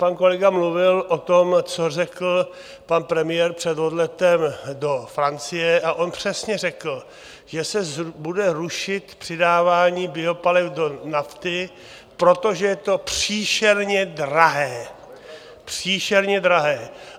Pan kolega mluvil o tom, co řekl pan premiér před odletem do Francie, a on přesně řekl, že se bude rušit přidávání biopaliv do nafty, protože je to příšerně drahé, příšerně drahé.